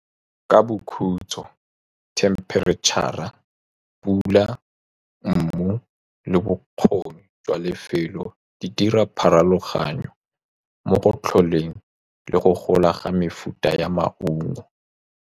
ka bokhutso temperature-ra pula mobu le bokgoni jwa lefelo. Di dira pharologano mo go tlholeng le go gola ga mefuta ya maungo.